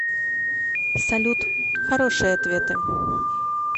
салют хорошие ответы